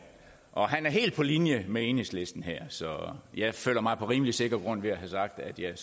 og han er helt på linje med enhedslisten her så jeg føler mig på rimelig sikker grund ved at have sagt at jeg